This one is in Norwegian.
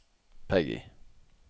Peggy